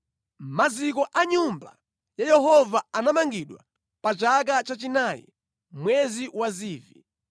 Maziko a Nyumba ya Yehova anamangidwa pa chaka chachinayi, mwezi wa Zivi.